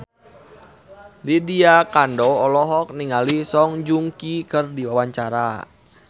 Lydia Kandou olohok ningali Song Joong Ki keur diwawancara